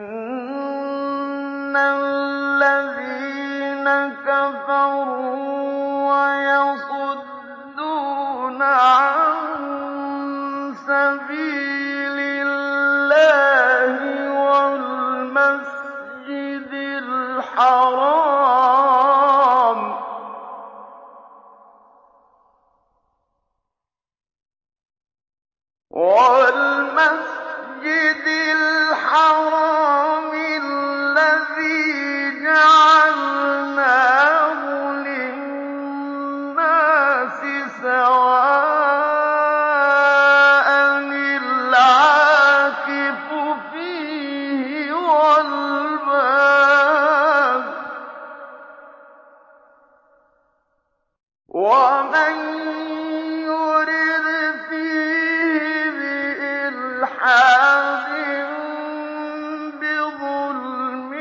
إِنَّ الَّذِينَ كَفَرُوا وَيَصُدُّونَ عَن سَبِيلِ اللَّهِ وَالْمَسْجِدِ الْحَرَامِ الَّذِي جَعَلْنَاهُ لِلنَّاسِ سَوَاءً الْعَاكِفُ فِيهِ وَالْبَادِ ۚ وَمَن يُرِدْ فِيهِ بِإِلْحَادٍ بِظُلْمٍ